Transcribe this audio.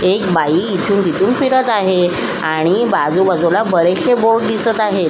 एक बाई इथून तिथून फिरत आहे आणि बाजू बाजूला बरेचशे बोर्ड दिसत आहेत.